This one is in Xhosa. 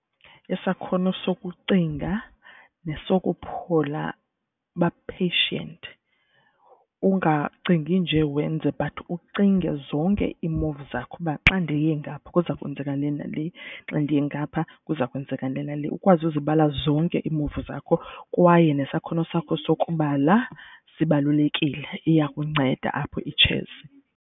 Isakhono sokucinga, nesokuphola ba-patient, ungacingi njee wenze but ucinge zonke ii-move zakho uba xa ndiye ngapha kuza kwenzeka le nale xa ndiye ngapha kuza kwenzeka le nale. Ukwazi uzibala zonke ii-move zakho kwaye nesakhono sakho sokubala sibalulekile iya kunceda apho itshesi.